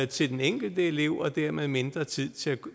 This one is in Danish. til den enkelte elev og dermed mindre tid til at